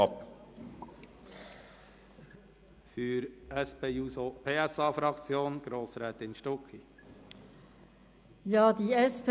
Für die SP-JUSO-PSA-Fraktion hat Grossrätin Stucki das Wort.